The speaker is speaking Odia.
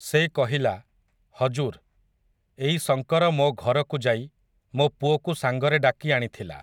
ସେ କହିଲା, ହଜୁର୍, ଏଇ ଶଙ୍କର ମୋ ଘରକୁ ଯାଇ ମୋ ପୁଅକୁ ସାଙ୍ଗରେ ଡାକି ଆଣିଥିଲା ।